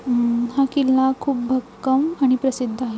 हम्म हा किल्ला खूप भक्कम आणि प्रसिद्ध आहे.